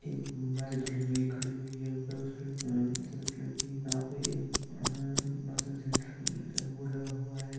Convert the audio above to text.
ह-ह- सफ़ेद कलर की यहा पे ह-ह- वाशिंग सेंटर का बोर्ड लगा हुआ है।